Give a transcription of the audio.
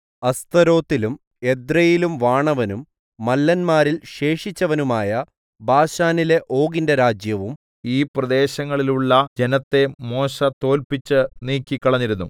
അസ്തരോത്തിലും എദ്രെയിലും വാണവനും മല്ലന്മാരിൽ ശേഷിച്ചവനുമായ ബാശാനിലെ ഓഗിന്റെ രാജ്യവും ഈ പ്രദേശങ്ങളിലുള്ള ജനത്തെ മോശെ തോല്പിച്ച് നീക്കിക്കളഞ്ഞിരുന്നു